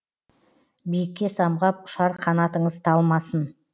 биікке самғап ұшар қанатыңыз талмасы